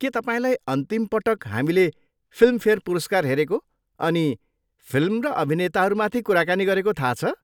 के तपाईँलाई अन्तिम पटक हामीले फिल्मफेयर पुरस्कार हेरेको अनि फिल्म र अभिनेताहरूमाथि कुराकानी गरेको थाहा छ?